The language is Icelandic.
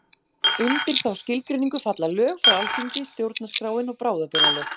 Undir þá skilgreiningu falla lög frá Alþingi, stjórnarskráin og bráðabirgðalög.